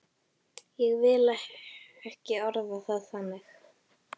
Ég vil ekki orða það þannig.